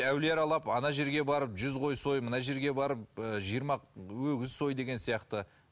әулие аралап ана жерге барып жүз қой сой мына жерге барып ы жиырма өгіз сой деген сияқты